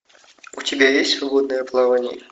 у тебя есть свободное плавание